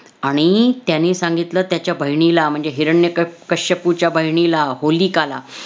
आणि त्याने सांगितलं त्याच्या बहिणीला म्हणजे हिरण्यक~ कश्यपूच्या बहिणीला, होलिकाला